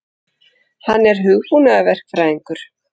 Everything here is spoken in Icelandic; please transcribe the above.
Hann er hugbúnaðarverkfræðingur.